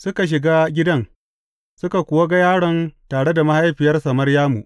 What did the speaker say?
Suka shiga gidan, suka kuwa ga yaron tare da mahaifiyarsa Maryamu.